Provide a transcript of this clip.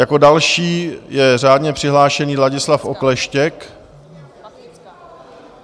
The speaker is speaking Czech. Jako další je řádně přihlášený Ladislav Okleštěk.